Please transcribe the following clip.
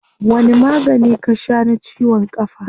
Wani magani ka shaa na ciwon kafa?